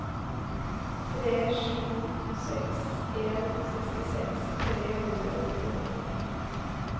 tre sju seks en sekstiseks tre hundre og nittiåtte